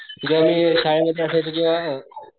जेव्हा मी शाळेत मध्ये असायचो तेव्हा,